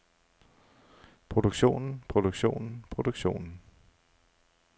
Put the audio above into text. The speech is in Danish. produktionen produktionen produktionen